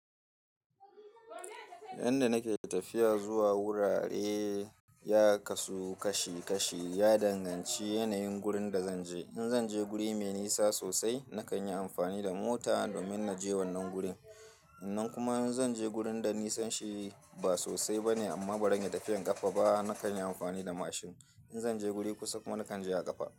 Yan da nake tafiya zuwa wurare ya kasu kashi kashi ya danganci yanayin gurin da zanje. In zanje guri me nisa sosai nakan yi amfani da mota domin naje wannan gurin. Nan kuma in zan je gurin da nisan shi ba sosai bane amma bazan iya tafiyan kafa ba, nakan yi amfani da mashin. In zan je guri kusa kuma nakan je a kafa.